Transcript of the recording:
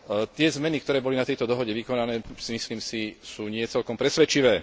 Tie zmeny, ktoré boli na tejto dohode vykonané, myslím si, sú nie celkom presvedčivé.